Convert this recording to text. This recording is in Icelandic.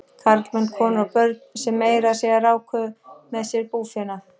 Karlmenn, konur og börn sem meira að segja ráku með sér búfénað.